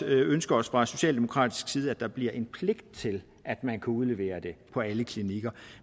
ønske os fra socialdemokratisk side at der bliver en pligt til at man kan udlevere det på alle klinikker